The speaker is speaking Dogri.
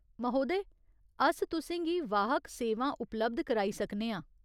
महोदय, अस तु'सें गी वाहक सेवां उपलब्ध कराई सकने आं।